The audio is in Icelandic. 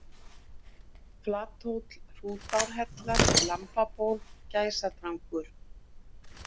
Flathóll, Hrútárhellar, Lambaból, Gæsadrangur